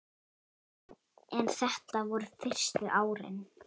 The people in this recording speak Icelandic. En þetta voru fyrstu árin.